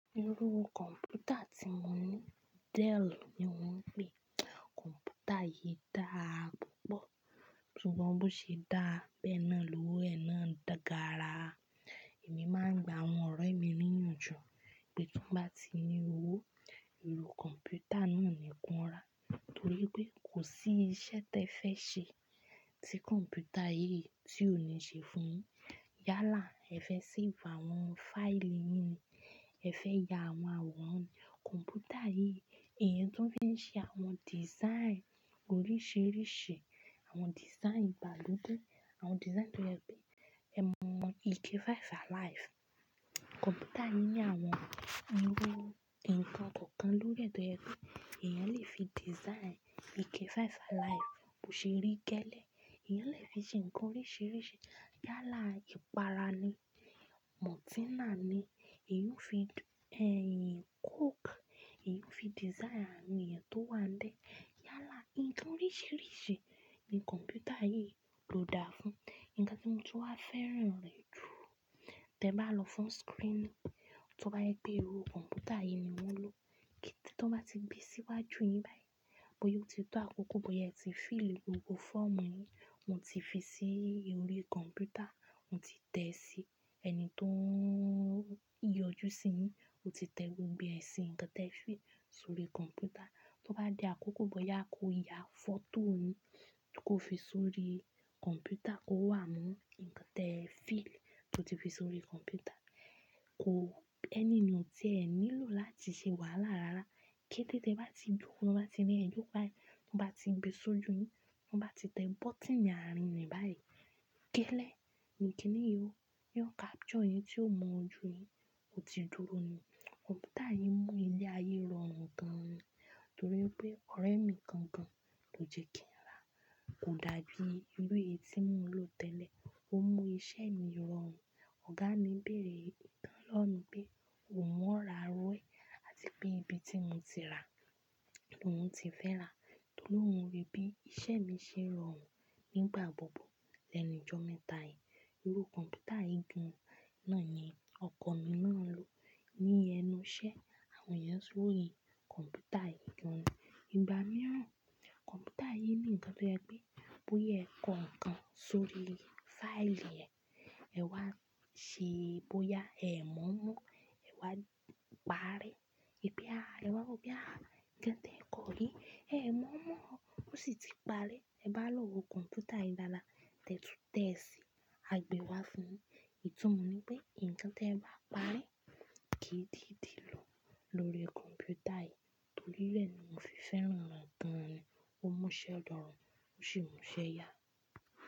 Irú kọ̀mpútà tí mo ní Dell ni mò ń pèé. Kọ̀mpútà yìí dáa púpọ̀, ṣùgbọ́n bó ṣe dáa, bẹ́ẹ̀ náà lowó ẹ̀ náà gaara. Èmi máa ń gba àwọn ọ̀rẹ́ mi níyànjú pé tí wọ́n bá ti ní owó, irú kọ̀mpútà náà ni kí wọ́n rà torí pé kò sí iṣẹ́ t'ẹ́ẹ fẹ́ ṣe tí kọ̀mpútà yìí tí ò ní ṣe fún-un yín. Yálà, ẹ fẹ́ séèfù àwọn fáìlì yín ni, ẹ fẹ́ ya àwọn àwòrán ni, kọ̀mpútà yìí. Èèyàn tún fi ń ṣe àwọn design oríṣiríṣi, àwọn design ìgbàlódé, àwọn design tó jẹ́ pé, ẹmọ ike five alive. Kọ̀mpútà yìí ní àwọn irú ǹkan kọ̀ọ̀kan lórí rẹ̀ tó jẹ́ pé èèyàn lè fi design ike five alive bó ṣe rí gẹ́lẹ́, èèyàn lè fi ṣe nǹkan oríṣiríṣi. Yálà ìpara ni, maltína ni, èèyàn ó fi, Coke, èèyàn ó fi design àwọn èèyàn tó wà ń bẹ̀. Yálà nǹkan oríṣiríṣi ni kọ̀mpútà yìí ló dáa fún. Nǹkan tí mo tún wá fẹ́ràn rẹ̀ jù, tẹ́ẹ bá lọ fún screening, tó bá jẹ́ pé irú kọ̀mpútà yìí ni wọ́n lò, tán bá ti gbée síwájú yín báyìí, bóyá ó ti tó àkókò, bóyá ẹ ti fill gbogbo fọ́ọ̀mù yín, wọ́n ti fi sí orí kọ̀mpútà, mo ti tẹ̀ẹ́ síi, ẹni tó ń yọjú síi yín, o ti tẹ gbogbo ẹ̀ síi nǹkan tẹ́ẹ fill sórí kọ̀mpútà. Tó bá di àkókò bóyá kó ya fọ́tò yín kó fi sórí kọ̀mpútà kó wà mọ́ nǹkan tẹ́ẹ fill tó ti fi sórí kọ̀mpútà. Kò, ènìyàn ò ti ẹ̀ nílò láti ṣe wàhálà rárá. Kété tẹ bá ti dúró, tán bá ti ní ẹ duró báyìí, tán bá ti gbée sójú yín, tán bá ti tẹ bọ́tíìnì àárín rẹ̀ báyìí. Gẹ́lẹ́, ní kíni yóò, yóò capture yín tí ó mú ojú yín, bó ti dúró ni. Kọ̀mpútà yìí mú ilé ayé rọrùn gan ni torí pé ọ̀rẹ́ mi kan gan ló jẹ́ kí n rà á. Kò dàbí irú èyí tí mò ń lò tẹ́lẹ̀, ó mú iṣẹ́ mi rọrùn. Ọ̀gá mi bèèrè gan lọ́wọ́ mi pé, òun ó ra irú ẹ̀, àti pé ibi tí mo ti rà á ni òun ti fẹ́ rà á torí òun ríi bí iṣẹ́ mi ṣe ń rọrùn nígbà gbogbo lẹ́nu ọjọ́ mẹ́ta yìí, irú kọ̀mpútà yìí gan náà ni ọkọ mi náà ń lò ní ẹnu iṣẹ́ àwọn ènìyàn róyìn kọ̀mpútà yìí gan ni. Ìgbà mìíràn kọ̀mpútà yìí ní nǹkan tó jẹ́ pé bóyá ẹ kọ nǹkan sórí fáìlì rẹ̀, ẹ wá ṣe e, bóyá ẹ ò mọ̀ọ́ mọ́, ẹ wá paárẹ́, wípé áà, ẹ wá wòópe, nnkan tí ẹ kọ yìí? Ẹ ò mọ̀ọ́ mọ́, ó sì ti parẹ́. Tẹ́ẹ bá mo èlo kọ̀mpútà yìí dáadáa, tẹ́ẹ tún tẹ̀ẹ́ sì, á gbée wá fún-un yín. Ìtumọ̀ ni pé nǹkan tẹ́ẹ bá parẹ́, kì í tètè lọ lóríi kọ̀mpútà yìí torí bẹ́ẹ̀ mo fi fẹ́ràn rẹ̀ gan-ni, ó mú'ṣẹ́ rọrùn, ó sì mú iṣẹ́ yá.